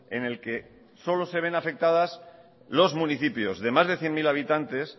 en el que solo se ven afectadas los municipios de más de cien mil habitantes